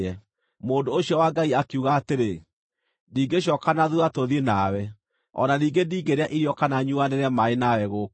Mũndũ ũcio wa Ngai akiuga atĩrĩ, “Ndingĩcooka na thuutha tũthiĩ nawe, o na ningĩ ndingĩrĩa irio kana nyuanĩre maaĩ nawe gũkũ.